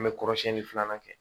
An bɛ kɔrɔsiyɛnni filanan kɛ